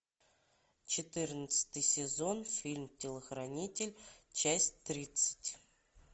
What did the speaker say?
четырнадцатый сезон фильм телохранитель часть тридцать